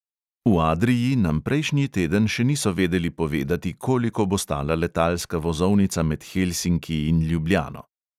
V adrii nam prejšnji teden še niso vedeli povedati, koliko bo stala letalska vozovnica med helsinki in ljubljano.